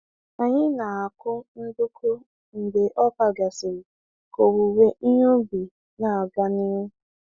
Anyị na-akụ nduku mgbe ọka gasịrị ka owuwe ihe ubi na-aga n'ihu.